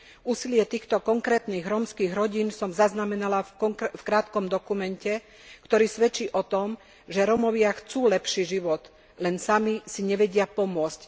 Úsilie týchto konkrétnych rómskych rodín som zaznamenala v krátkom dokumente, ktorý svedčí o tom, že Rómovia chcú lepší život, len sami si nevedia pomôcť.